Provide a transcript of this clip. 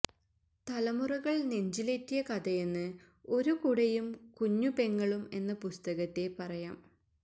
തലമുറകൾ നെഞ്ചിലേറ്റിയ കഥയെന്ന് ഒരു കുടയും കുഞ്ഞുപെങ്ങളും എന്ന പുസ്തകത്തെ പറയാം